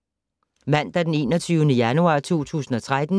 Mandag d. 21. januar 2013